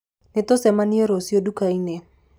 Nĩtũcemanie rũciũ ndũkainĩ.